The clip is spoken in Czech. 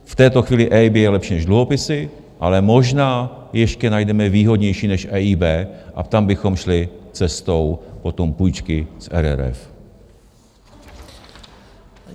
V této chvíli EIB je lepší než dluhopisy, ale možná ještě najdeme výhodnější než EIB a tam bychom šli cestou potom půjčky z RRF.